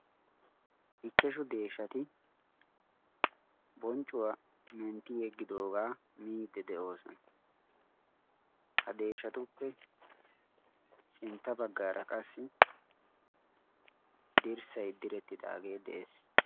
ichchashu deeshati bonccuwaa mentti yeggidoogaa miidi de'oosona ha deeshatuppe sintta baggaara qassi dirssay direttidaagee de'ees